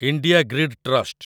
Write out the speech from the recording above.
India grid trust